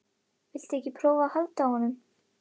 Viltu ekki prófa að halda á honum?